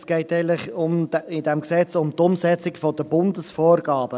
– Es geht in diesem Gesetz eigentlich um die Umsetzung der Bundesvorgaben.